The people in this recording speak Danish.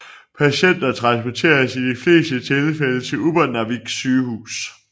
Patienter transporteres i de fleste tilfælde til Upernavik Sygehus